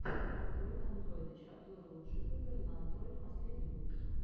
андройд андройдыч обзоры лучших игр на андройд последний выпуск